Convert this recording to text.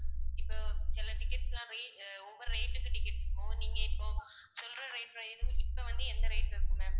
இப்போ சில tickets லாம் ரே~ அஹ் ஒவ்வொரு rate க்கு ticket இருக்கும். நீங்க இப்போ சொல்லுற rate இப்போ வந்து என்ன rate ல இருக்கும் ma'am